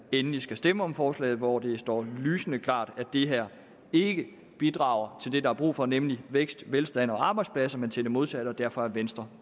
endelig skal stemme om forslaget hvor det står lysende klart at det her ikke bidrager til det der er brug for nemlig vækst velstand og arbejdspladser men til det modsatte og derfor er venstre